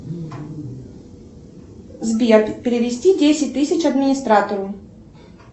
сбер перевести десять тысяч администратору